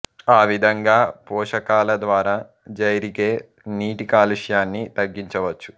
ఆ విధంగా పోషకాల ద్వారా జైరిగే నీటి కాలుష్యాన్ని తగ్గించవచ్చు